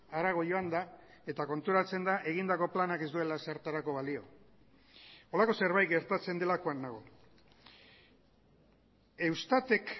harago joan da eta konturatzen da egindako planak ez duela ezertarako balio holako zerbait gertatzen delakoan nago eustatek